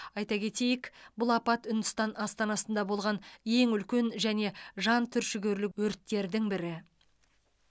айта кетейік бұл апат үндістан астанасында болған ең үлкен және жан түршігерлік өрттердің бірі